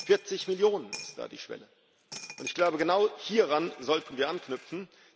40 Millionen sind da die Schwelle, und ich glaube, genau hieran sollten wir anknüpfen.